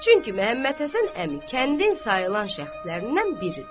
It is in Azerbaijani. Çünki Məhəmmədhəsən əmi kəndin sayılan şəxslərindən biridir.